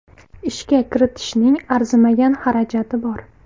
Ishga kiritishning arzimagan xarajati bor.